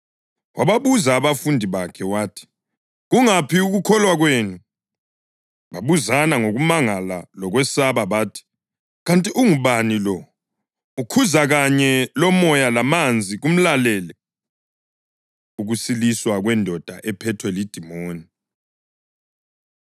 Wababuza abafundi bakhe, wathi, “Kungaphi ukukholwa kwenu?” Babuzana ngokumangala lokwesaba bathi, “Kanti ungubani lo? Ukhuza kanye lomoya lamanzi kumlalele.” Ukusiliswa Kwendoda Ephethwe Lidimoni